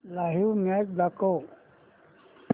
live match दाखव